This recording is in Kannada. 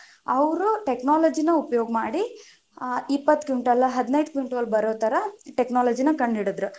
ಅವ್ರು technology ನ ಉಪಯೋಗ ಮಾಡಿ, ಇಪ್ಪತ್ತು ಕ್ವಿಂಟಲ ಹದಿನೈದು ಕ್ವಿಂಟಲ ಬರೊ ತರಾ technology ನ ಕಂಡು ಹಿಡಿದರು.